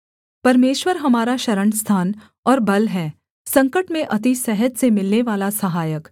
परमेश्वर हमारा शरणस्थान और बल है संकट में अति सहज से मिलनेवाला सहायक